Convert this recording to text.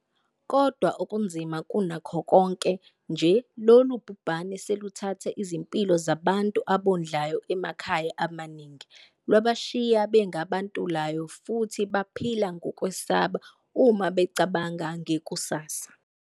Kodwa okunzima kunakho konke nje, lolu bhubhane seluthathe izimpilo zabantu abondlayo emakhaya amaningi, lwabashiya benga bantulayo futhi baphila ngokwesaba uma becabanga ngekusasa.